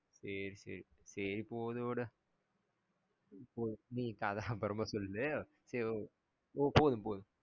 சேரி சேரி சேரி போது விடு நீ இப்போ கதை சொல்லுறது சொல்லு போதும் போதும்